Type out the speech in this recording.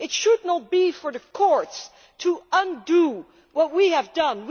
It should not be for the courts to undo what we have done.